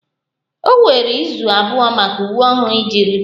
O were izu abụọ maka uwe ọhụrụ iji rute